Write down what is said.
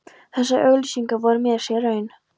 Þessar auglýsingar voru mér sár raun.